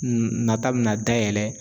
N nata bɛna dayɛlɛ